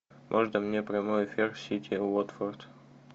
можно мне прямой эфир сити уотфорд